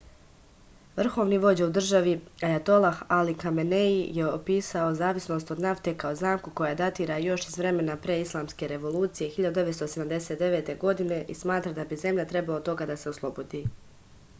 vrhovni vođa u državi ajatolah ali kamenei je opisao zavisnost od nafte kao zamku koja datira još iz vremena pre islamske revolucije 1979. godine i smatra da bi zemlja trebalo toga da se oslobodi